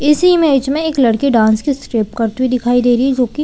इसी मैच में एक लड़की डांस की स्टेप करती हुई दिखाई दे रही है जो की--